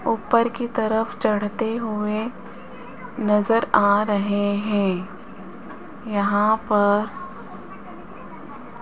ऊपर की तरफ चढ़ते हुए नजर आ रहे हैं यहां पर --